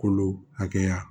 Kolo hakɛya